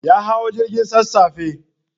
Ya hau jirgin sassafe.